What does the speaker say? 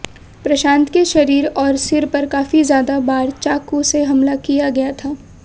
प्रशांत के शरीर और सिर पर काफी ज्यादा बार चाकू से हमला किया गया था